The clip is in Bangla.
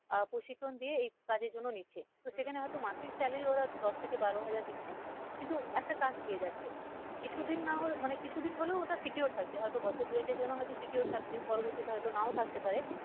আহ প্রশিক্ষণ দিয়ে এই কাজের জন্য নিচ্ছে তো সেখানে হয় তো মাসের salary ওরা দশ থেকে বারো হাজার দিচ্ছে কিন্তু একটা কাজ পেয়ে যাচ্ছে কিছু দিন না হয় মানে কিছু দিন হলেও ওটা secure থাকছে হয়তো বছর দুয়েকের জন্য হয়তো secure থাকছে পরবর্তিতে হয় তো নাও থাকতে পারে।